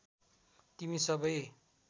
तिमी सबै